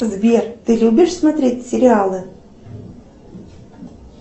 сбер ты любишь смотреть сериалы